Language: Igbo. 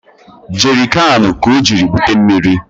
Jerịkanụ ka o jiri bute mmiri